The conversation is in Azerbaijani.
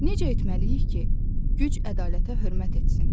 Necə etməliyik ki, güc ədalətə hörmət etsin?